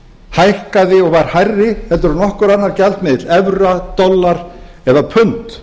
hækkaði og var hærri heldur en nokkur annar gjaldmiðill evra dollar eða pund